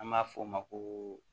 An b'a fɔ o ma ko